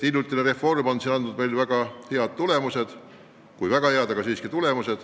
Hiljutine reform on andnud kui mitte väga häid tulemusi, siis ikkagi tulemusi.